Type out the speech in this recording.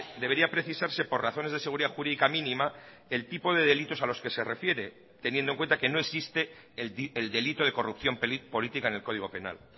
debería precisarse por razones de seguridad jurídica mínima el tipo de delitos a los que se refiere teniendo en cuenta que no existe el delito de corrupción política en el código penal